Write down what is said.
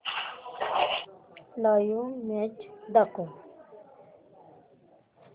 live match दाखव